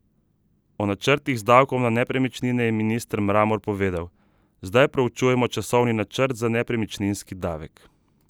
O načrtih z davkom na nepremičnine je minister Mramor povedal: 'Zdaj proučujemo časovni načrt za nepremičninski davek.